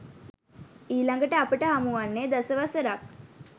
ඊළඟට අපට හමුවන්නේ දස වසරක්